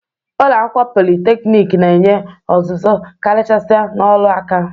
Ụlọ akwụkwọ politeknik na-enye ọzụzụ karịchasịa n'ọrụ nka.